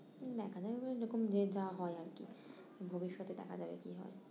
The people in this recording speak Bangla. দেখা যাক এরকম যে যা হয় আর কি, ভবিষ্যতে দেখা যাবে কি হয়